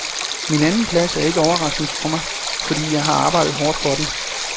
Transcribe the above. Min anden plads er ikke overraskende for mig, fordi jeg har arbejdet hårdt for den.